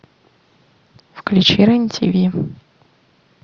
включи рен тв